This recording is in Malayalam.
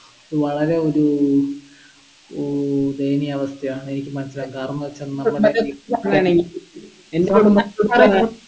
ഇത് വളരെ ഒരു ഏർ ദയനീയാവസ്ഥയാണ് എനിക്ക് മനസിലാക്കാം കാരണംന്ന് വെച്ചെന്നാൽ നമ്മുടെ